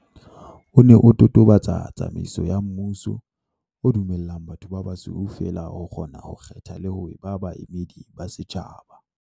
O ne o totobatsa tsamaiso ya mmu-so, o dumellang batho ba basweu feela ho kgona ho kgetha le ho eba baemedi ba setjhaba.